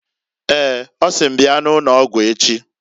Eeǃ Ọ sị m bia n' ụnọgwụ echi.